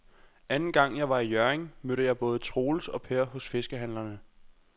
Anden gang jeg var i Hjørring, mødte jeg både Troels og Per hos fiskehandlerne.